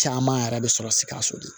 Caman yɛrɛ bɛ sɔrɔ sikaso de